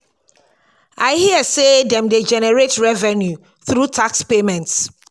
i hear say dem dey generate revenue through tax payments